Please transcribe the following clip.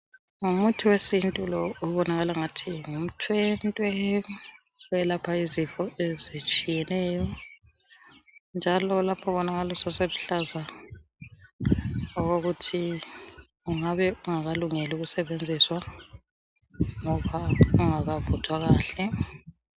Ngumuthi wesintu lo obonakala angathi ngumthwentwe, owelapha izifo ezitshiyeneyo, njalo lapha ubonakala useseluhlaza okokuthi ungabe ungakalungeli ukusetshenziswa ngoba ungakavuthwa kahle